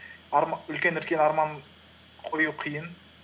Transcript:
үлкен үлкен арман қою қиын